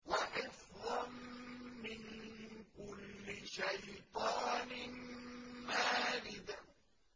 وَحِفْظًا مِّن كُلِّ شَيْطَانٍ مَّارِدٍ